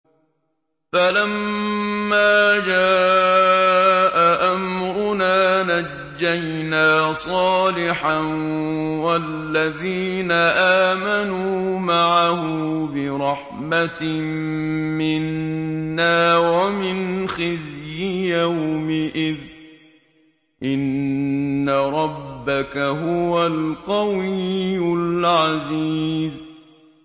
فَلَمَّا جَاءَ أَمْرُنَا نَجَّيْنَا صَالِحًا وَالَّذِينَ آمَنُوا مَعَهُ بِرَحْمَةٍ مِّنَّا وَمِنْ خِزْيِ يَوْمِئِذٍ ۗ إِنَّ رَبَّكَ هُوَ الْقَوِيُّ الْعَزِيزُ